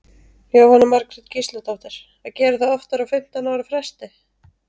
Jóhanna Margrét Gísladóttir: Að gera það oftar á fimmtán ára fresti?